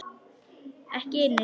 Ekki inni, sagði Finnur.